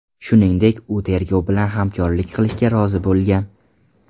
Shuningdek, u tergov bilan hamkorlik qilishga rozi bo‘lgan.